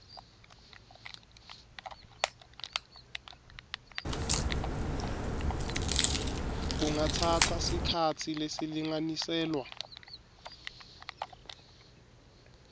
kungatsatsa sikhatsi lesilinganiselwa